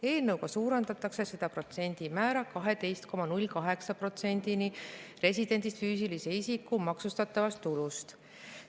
Eelnõuga suurendatakse seda protsendimäära 12,08%-ni residendist füüsilise isiku maksustatavast tulust.